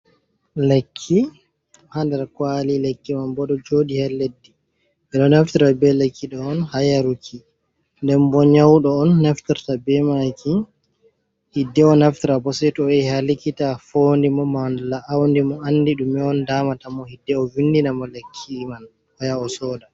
Lekki ha ndar kwali, lekki man bo do jodi he leddi bedo naftara be lekkido on ha yaruki nden bo nyaudo on naftarta be maki hidde o naftara bo seito o yahi ha likita fondi mo manla auni mo andi dume on damata mo hidde o windina mo lekki man oya o soda.